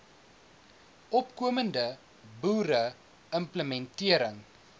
opkomende boere implementering